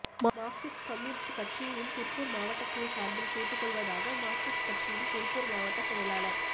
Marxist communist கட்சியின் திருப்பூர் மாவட்ட குழு சார்பில் கேட்டுக் கொள்வதாக மார்க்சிஸ்ட் கட்சியின் திருப்பூர் மாவட்டச் செயலாளர்